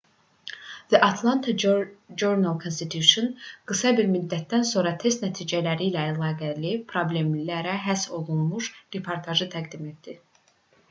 the atlanta journal-constitution qısa bir müddətdən sonra test nəticələri ilə əlaqəli problemlərə həsr olunmuş reportaj təqdim etdi